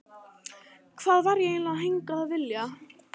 Hvað var ég eiginlega hingað að vilja?